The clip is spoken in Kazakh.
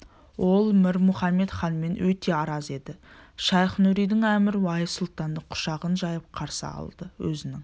ол мір мұхамед ханмен өте араз еді шайх-нұридин әмір уайс сұлтанды құшағын жайып қарсы алды өзінің